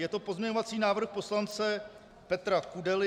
Je to pozměňovací návrh poslance Petra Kudely.